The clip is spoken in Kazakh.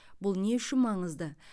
бұл не үшін маңызды